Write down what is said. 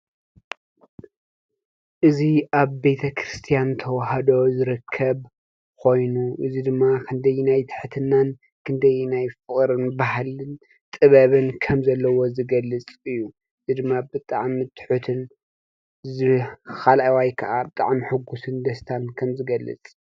እዚ ኣብ ቤተ ክርስቲያን ተዋህዶ ዝርከብ ኾይኑ እዝይ ድማ ኽንደየናይ ትሕትናን ክንደየናይ ፍቕርን ባህልን ጥበብን ከም ዘለዎ ዝገልጽ እዩ እዚ ድማ ብጣዕሚ ትሑትን እዚ ኻልአዋይ ከዓ ብጣዕሚ ሕጉስን ደስታን ከም ዝገልጽ